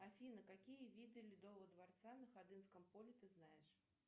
афина какие виды ледового дворца на ходынском поле ты знаешь